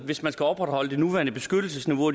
hvis man skal opretholde det nuværende beskyttelsesniveau